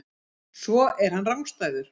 Svo er hann rangstæður.